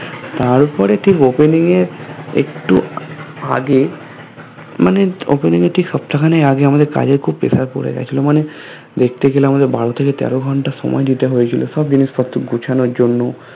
তার পরে ঠিক Opening এর একটু আগে মানে Opening এর ঠিক সপ্তাখানেক আগে খুব Pressure পরে গিয়েছিলো দেখতে গেলে আমাদের বারো থেকে তেরো ঘন্টা সময় দিতে হয়েছিল সব জিনিসপত্র গুছানোর জন্য